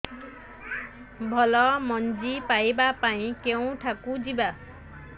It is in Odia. ଭଲ ମଞ୍ଜି ପାଇବା ପାଇଁ କେଉଁଠାକୁ ଯିବା